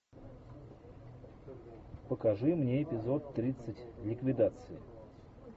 покажи мне эпизод тридцать ликвидации